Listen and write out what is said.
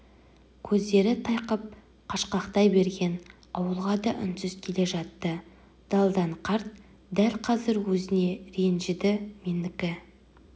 көздері тайқып қашқақтай берген ауылға да үнсіз келе жатты далдан қарт дәл қазір өзіне ренжіді менікі